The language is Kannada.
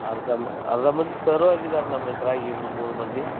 ಅರ್ದಾ ಮ~ ಅರ್ದಾ ಮಂದಿ sir ಆಗಿದಾರ ನಮ್ಮ ಇತ್ರಾಗ ಇಬ್ರ ಮೂರ ಮಂದಿ.